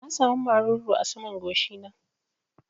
Na sa mu maruru a saman goshi na